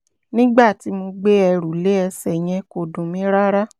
nígbà tí mo gbé ẹrù lé ẹsẹ̀ yẹn kò dùn mí rárá